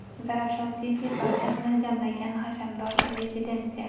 Zarafshan City – barchasini jamlagan hashamdor rezidensiya!.